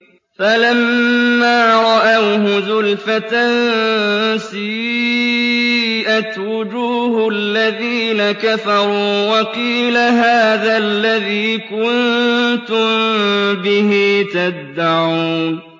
فَلَمَّا رَأَوْهُ زُلْفَةً سِيئَتْ وُجُوهُ الَّذِينَ كَفَرُوا وَقِيلَ هَٰذَا الَّذِي كُنتُم بِهِ تَدَّعُونَ